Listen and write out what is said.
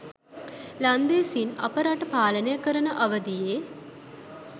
ලන්දේසීන් අප රට පාලනය කරන අවදියේ